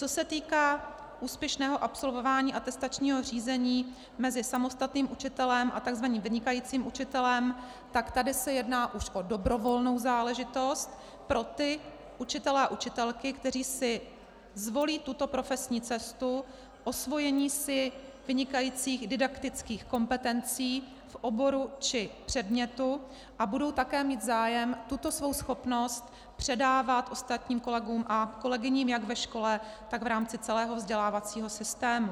Co se týká úspěšného absolvování atestačního řízení mezi samostatným učitelem a tzv. vynikajícím učitelem, tak tady se jedná už o dobrovolnou záležitost pro ty učitele a učitelky, kteří si zvolí tuto profesní cestu osvojení si vynikajících didaktických kompetencí v oboru či předmětu a budou také mít zájem tuto svou schopnost předávat ostatním kolegům a kolegyním jak ve škole, tak v rámci celého vzdělávacího systému.